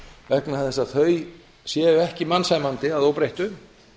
vegna þess að þau séu ekki mannsæmandi að óbreyttu